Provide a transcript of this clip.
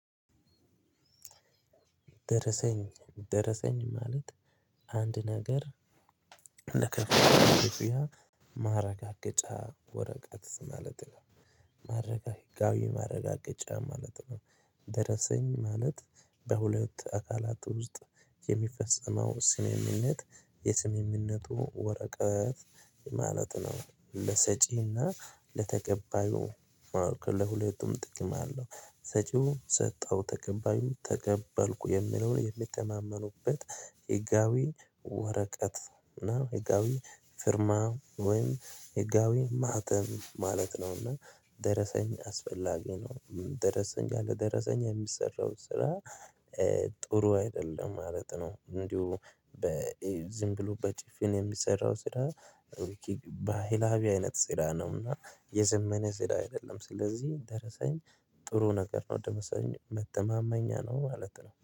ደረሰኝ ደረሰኝ ማለት አንድ ነገር ለከፈልነው ክፍያ ማረጋገጫ ወረቀት ማለት ነው። ሕጋዊ ማረጋገጫ ማለት ነው። ደረሰኝ ማለት በሁለት አካላት ውስጥ የሚፈጸመው ስምምነት የስምምነቱ ወረቀት ማለት ነው። ለሰጪና ለተቀባዩ ለሁለቱም ጥቅም አለው። ሰጪው ሰጠው ተቀባዩ ተቀባልኩ የሚለውን የሚተማመኑበት ህጋዊ ወረቀት ህጋዊ ፍርማ ወይም ህጋዊ ማህተም ማለት ነው። እና ደረሰኝ አስፈላጊ ነው። ደረሰኝ ያለ ደረሰኝ የሚሰራው ስራ ጥሩ አይደለም ማለት ነው። እንዲሁ ዝም ብሎ በጭፍን የሚሰራው ስራ። ባህላዊ አይነት ስራ ነውና የዘመነ ስራ አይደለም። ስለዚህ ደረሰኝ ጥሩ ነገር ነው። ደረሰኝ መተማመኛ ነው ማለት ነው